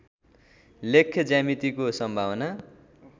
लेख्य ज्यामितिको सम्भावना